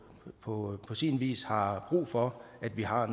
på sin vis har brug for at vi har